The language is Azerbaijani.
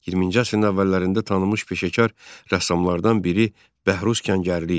20-ci əsrin əvvəllərində tanınmış peşəkar rəssamlardan biri Bəhruz Kəngərli idi.